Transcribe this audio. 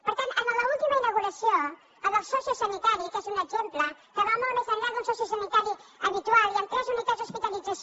per tant en l’última inauguració la del sociosanitari que és un exemple que va molt més enllà d’un sociosanitari habitual hi han tres unitats d’hospitalització